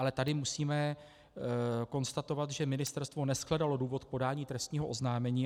Ale tady musíme konstatovat, že ministerstvo neshledalo důvod k podání trestního oznámení.